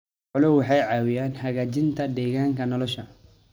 Xooluhu waxay caawiyaan hagaajinta deegaanka nolosha.